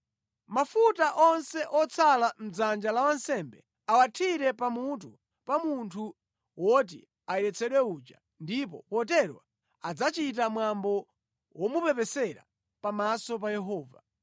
Mafuta onse otsala mʼdzanja la wansembe awathire pamutu pa munthu woti ayeretsedwe uja, ndipo potero adzachita mwambo womupepesera pamaso pa Yehova.